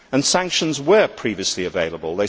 Sanctions were previously available